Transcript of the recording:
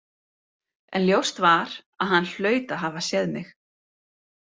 En ljóst var að hann hlaut að hafa séð mig.